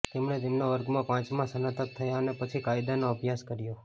તેમણે તેમના વર્ગમાં પાંચમા સ્નાતક થયા અને પછી કાયદાનો અભ્યાસ કર્યો